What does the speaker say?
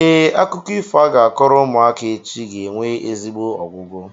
Ee, akụkọ ifo a ga-akọrọ ụmụaka echi ga-enwe ezigbo ọgwụgwụ.